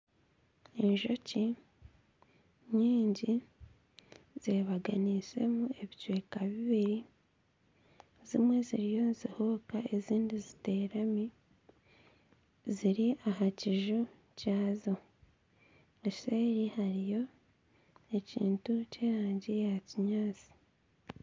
Enjoki nyingi zebaganiseemu ebicweka bibiri, zimwe ziriyo nizihururuka ezindi ziteekami, ziri aha kiju kyazo, eseeri hariyo ekintu ky'erangi ya kinyaatsi